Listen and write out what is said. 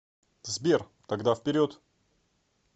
сбер тогда вперед